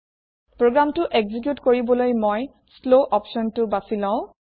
প্ৰোগ্ৰামটো একজিউট কৰিবলৈ মই শ্লৱ অপচনটো বাচি লম